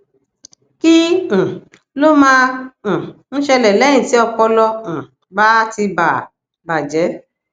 kí um ló máa um ń ṣẹlè léyìn tí ọpọlọ um bá ti bà bà jé